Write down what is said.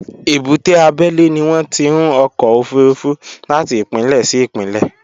Èbúté abẹ́lé ni wọn ti ń ọkọ̀ òfurufú láti ìpínlẹ̀ sí ìpínlẹ̀